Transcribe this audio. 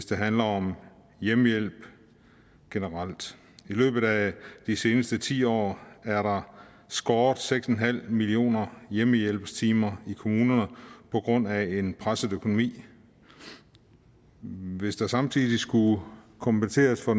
det handler om hjemmehjælp generelt i løbet af de seneste ti år er der skåret seks millioner hjemmehjælpstimer i kommunerne på grund af en presset økonomi hvis der samtidig skulle kompenseres for